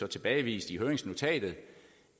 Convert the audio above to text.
tilbagevist i høringsnotatet